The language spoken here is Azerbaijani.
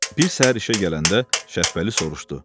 Bir səhər işə gələndə Şəpbəli soruşdu: